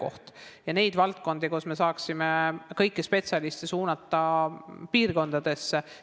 Me peaksime vaatama, kas on selliseid valdkondi, et me saaksime kõiki spetsialiste piirkondadesse suunata.